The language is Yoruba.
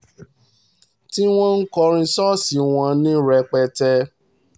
tí wọ́n ń kọrin ṣọ́ọ̀ṣì wọn ní rẹpẹtẹ